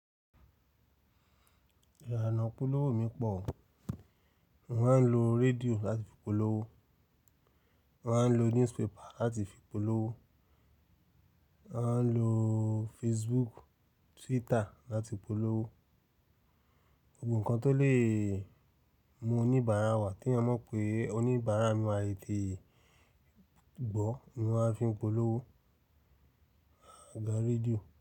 Ìlànà ìpolówoó mi pọ̀ o. Mo máa ń lo rédíò láti fi polówó, mo máa ń lo newspaper láti fi polówó, màá lo Facebook, Twitter láti polówó. Gbobo nkan tó lè mú oníbàárà wà teyan mọ̀ pé oníbàárà mi ma tètèe gbọ́ ni màá fi n polówó agagaa rédíò.